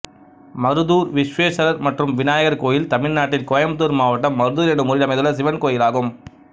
மருதூர் விஷ்வேஸ்வரர் மற்றும் விநாயகர் கோயில் தமிழ்நாட்டில் கோயம்புத்தூர் மாவட்டம் மருதூர் என்னும் ஊரில் அமைந்துள்ள சிவன் கோயிலாகும்